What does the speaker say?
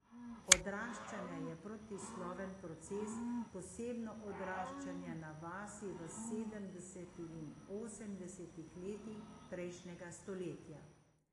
Odraščanje je protisloven proces, posebno odraščanje na vasi v sedemdesetih in osemdesetih letih prejšnjega stoletja.